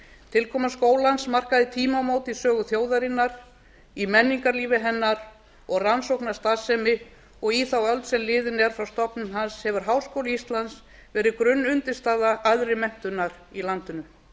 tilkoma skólans markaði tímamót í sögu þjóðarinnar í menningarlífi hennar og rannsóknastarfsemi og í þá öld sem liðin er frá stofnun hans hefur háskóli íslands verið grunnundirstaða æðri menntunar í landinu